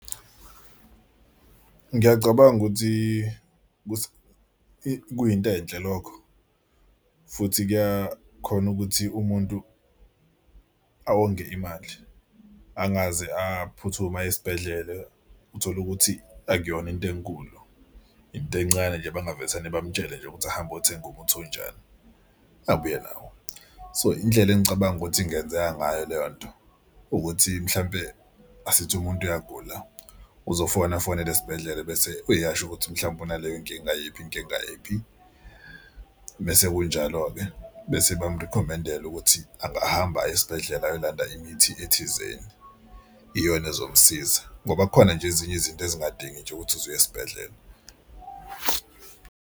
Ngiyacabanga ukuthi kuyinto enhle lokho futhi kuyakhona ukuthi umuntu onge imali angazi aphuthume aye esibhedlela. Utholukuthi akuyona into enkulu into encane nje abangavesane bamutshele nje ukuthi hamba othenga umuntu onjani abuye nawo. So indlela engicabanga ukuthi ingenzeka ngayo leyo nto ukuthi mhlampe asithi umuntu uyagula uzofona afonele esibhedlela bese uyasho ukuthi mhlawumpe unaleyo inkinga yiphi inkinga yiphi. Mese kunjalo-ke bese bamurikhomendela ukuthi angahamba aye esibhedlela ayolanda imithi ethizeni iyona ezomsiza, ngoba kukhona nje ezinye izinto ezingadingi nje ukuthi uze uye esibhedlela.